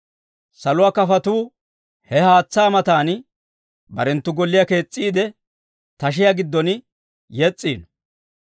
Saluwaa kafotuu he haatsaa matan barenttu golliyaa kees's'iide, tashiyaa giddon yes's'iino.